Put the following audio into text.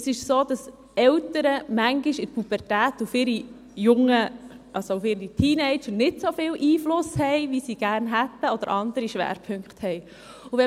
Es ist so, dass Eltern manchmal während der Pubertät auf ihre Teenager nicht einen so grossen Einfluss haben, wie sie gerne hätten, oder andere Schwerpunkte setzen.